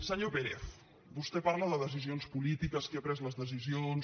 senyor pérez vostè parla de decisions polítiques de qui ha pres les decisions